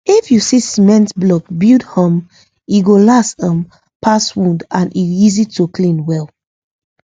if you use cement block build um e go last um pass wood and e easy to clean well